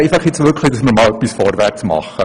Ich hoffe, dass man nun vorwärtsgeht.